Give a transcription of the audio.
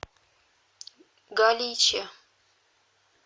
галиче